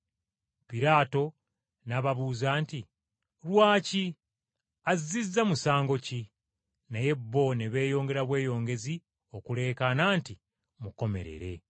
Piraato n’ababuuza nti, “Lwaki? Azziza musango ki?” Naye bo ne beeyongera bweyongezi okuleekaana nti, “Mukomerere.”